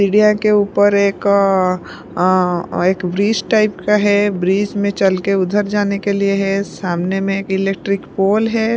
सीढिया के ऊपर एका अअ एक ब्रिज टाइप का है ब्रिज में चल के उधर जाने के लिए है सामने में इलेक्ट्रिक पोल है।